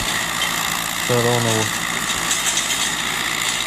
шаронову